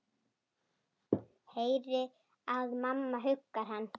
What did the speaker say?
Heyri að mamma huggar hann.